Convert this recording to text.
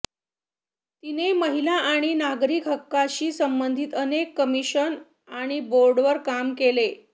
तिने महिला आणि नागरी हक्कांशी संबंधित अनेक कमिशन आणि बोर्डवर काम केले